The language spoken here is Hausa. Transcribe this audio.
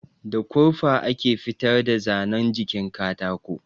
Da kurfa ake fitar da zanan jikin katako